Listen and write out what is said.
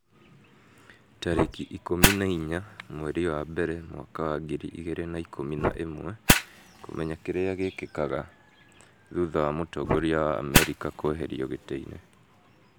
tarĩki ikũmi na inya mweri wa mbere mwaka wa ngiri igĩrĩ na ikũmi na ĩmweKũmenya kĩrĩa gĩkĩkaga thutha wa mũtongoria wa Amerika kũeherio gĩtĩ-inĩ